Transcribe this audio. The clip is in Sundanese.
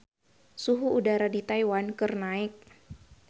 Suhu udara di Taiwan keur naek